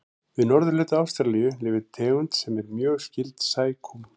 Við norðurhluta Ástralíu lifir tegund sem er mjög skyld sækúm.